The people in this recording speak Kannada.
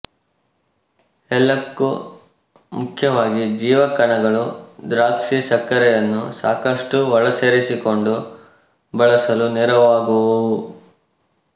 ಎಲ್ಲಕ್ಕೂ ಮುಖ್ಯವಾಗಿ ಜೀವಕಣಗಳು ದ್ರಾಕ್ಷಿಸಕ್ಕರೆಯನ್ನು ಸಾಕಷ್ಟು ಒಳಸೇರಿಸಿಕೊಂಡು ಬಳಸಲು ನೆರವಾಗುವುವು